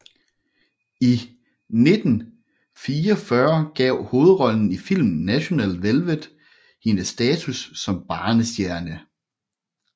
I 1944 gav hovedrollen i filmen National Velvet hende status som barnestjerne